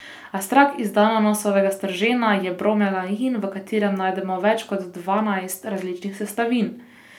Ekstrakt iz ananasovega stržena je bromelain, v katerem najdemo več kot dvanajst različnih sestavin.